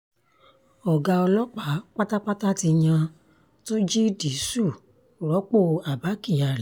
ọ̀gá ọlọ́pàá pátápátá ti yan túnjí dìṣù rọ́pò abba kyari